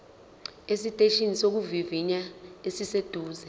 esiteshini sokuvivinya esiseduze